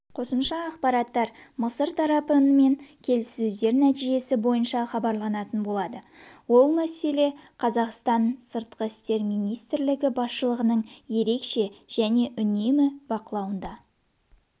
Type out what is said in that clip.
қосымша ақпарат мысыр тарапымен келіссөздер нәтижесі бойынша хабарланатын болады осы мәселе қазақстан сыртқы істер министрлігі басшылығының ерекше және үнемі бақылауында